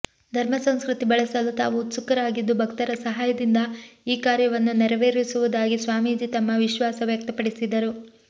ಧರ್ಮ ಸಂಸ್ಕೃತಿ ಬೆಳೆಸಲು ತಾವು ಉತ್ಸುಕರಾಗಿದ್ದು ಭಕ್ತರ ಸಹಾಯದಿಂದ ಈ ಕಾರ್ಯವನ್ನು ನೆರವೇರಿಸುವುದಾಗಿ ಸ್ವಾಮೀಜಿ ತಮ್ಮ ವಿಶ್ವಾಸ ವ್ಯಕ್ತಪಡಿಸಿದರು